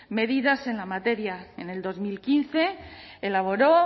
medidas en la materia en el dos mil quince elaboró